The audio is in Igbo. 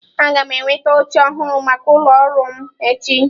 Aga m enweta oche ọhụrụ maka ụlọ ọrụ m echi.